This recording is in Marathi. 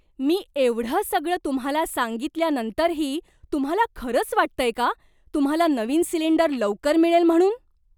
मी एवढं सगळं तुम्हाला सांगितल्यानंतरही तुम्हाला खरंच वाटतंय का तुम्हाला नवीन सिलिंडर लवकर मिळेल म्हणून?